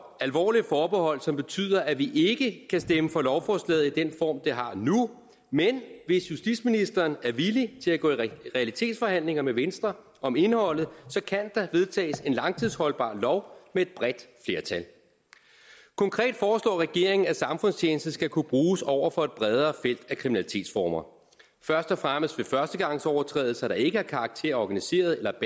alvorlige forbehold som betyder at vi ikke kan stemme for lovforslaget i den form det har nu men hvis justitsministeren er villig til at gå i realitetsforhandlinger med venstre om indholdet så kan der vedtages en langtidsholdbar lov med et bredt flertal konkret foreslår regeringen at samfundstjeneste skal kunne bruges over for et bredere felt af kriminalitetsformer først og fremmest ved førstegangsovertrædelser der ikke har karakter af organiseret eller